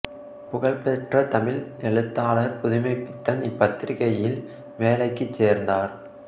புகழ் பெற்ற தமிழ் எழுத்தாளர் புதுமைப்பித்தன் இப்பத்திரிக்கையில் வேலைக்கு சேர்ந்தார்